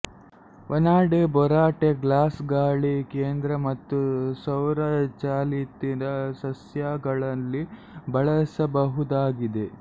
vanadate borate glass ಗಾಳೀ ಕೇಂದ್ರ ಮತ್ತು ಸೌರ ಚಾಲಿತ ಸಸ್ಯಗಳಲ್ಲಿ ಬಳಸಬಹುದಾಗಿದೆ